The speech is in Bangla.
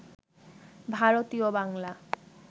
ভারতীয় বাংলা